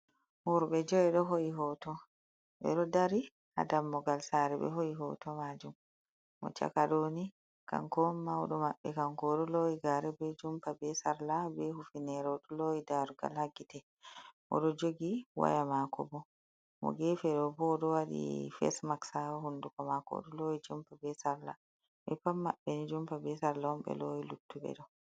Worbe jo’i do ho’i hoto ɓe ɗo dari ha dammogal sare be ho’i hoto majum mo chakaɗoni kanko on mauɗo maɓɓe kanko do lowi gare be jumpa be salla be hufinerado loyi darugal hagite bodo jogi waya mako bo mo gefe do bo do wadi fes maksa hunduko mako odo lowi jumpa be salla beppan mabbeni jumpa be sallaon be loyi luttuɓe ɗo.